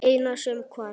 Eina sem hvarf.